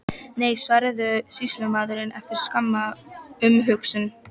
Nei, svaraði sýslumaðurinn, eftir skamma umhugsun.